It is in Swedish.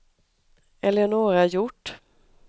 Eleonora Hjort